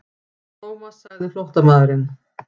Thomas sagði flóttamaðurinn.